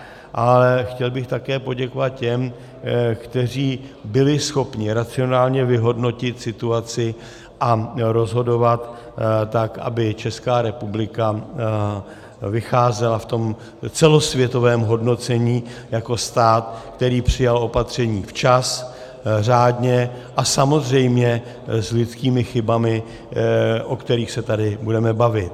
A chtěl bych také poděkovat těm, kteří byli schopni racionálně vyhodnotit situaci a rozhodovat tak, aby Česká republika vycházela v tom celosvětovém hodnocení jako stát, který přijal opatření včas, řádně a samozřejmě s lidskými chybami, o kterých se tady budeme bavit.